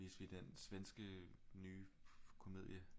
Viste vi den svenske nye komedie